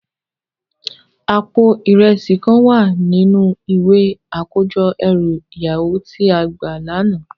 Àpó irèsi kán wá ninú iwé àkójò èrú iyàwó ti á gbá làná